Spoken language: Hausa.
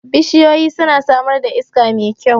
Bishiyu suna samar da iska mai kyau